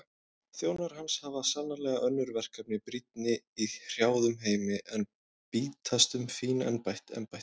Þjónar hans hafa sannarlega önnur verkefni brýnni í hrjáðum heimi en bítast um fín embætti.